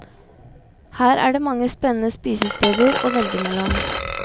Her er det mange spennende spisesteder å velge mellom.